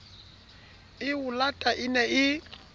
e olato e ne e